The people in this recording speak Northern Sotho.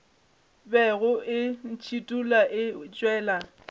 bego e ntšhithola e tšwela